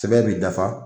Sɛbɛn b'i dafa